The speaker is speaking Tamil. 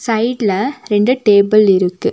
சைடுல ரெண்டு டேபிள் இருக்கு.